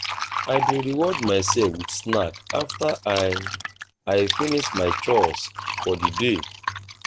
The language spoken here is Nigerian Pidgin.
i dey reward myself with snack after i i finish my chores for di day.